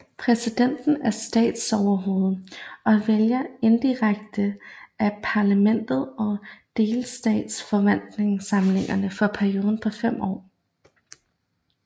Præsidenten er statsoverhoved og vælges indirekte af parlamentet og delstatsforsamlingerne for perioder på fem år